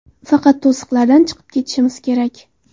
Faqat to‘siqlardan chiqib ketishimiz kerak.